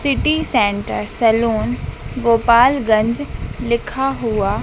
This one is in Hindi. city centre saloon Gopalganj लिखा हुआ--